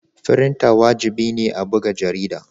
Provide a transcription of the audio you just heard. Frinter wajibi ne a buga jarida.